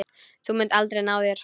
Þú munt aldrei ná þér.